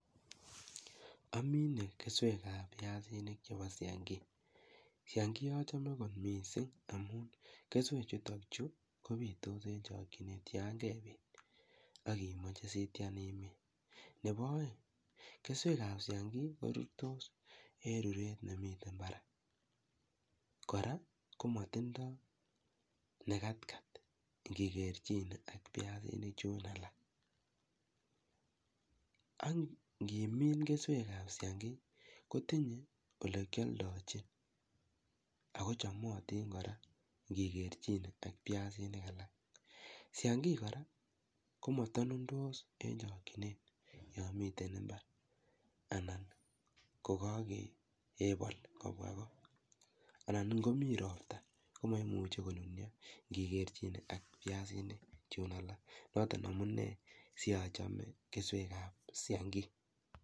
Omine keswek ab piasinik chepo siangi. Siangi ochome kot mising amun, keswechutok chuu kopitos en chikokyinet yang'emin akimoche sitian imin. Nebo oeng', keswek ab siangi korurtos, en ruret nemiten barak. Kora, komotindo nekat kat ng'ekerchine ak biasinik chun alak. Ak ng'imin keswek ab siangi, kotinye olekyoldochin. Ako chomotin kora ng'ekerchin ak biasinik alak. Siangi kora komotonundos. Yon miten imbar anan kokokepol kobwa koo. Anan ngomi ropta komoimuchi konunyo, ng'ekerchin ak biasinik chun alak. Noton amunee sionchome Biasinik sinik ab siangi